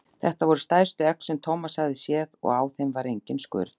Þetta voru stærstu egg sem Thomas hafði séð og á þeim var engin skurn.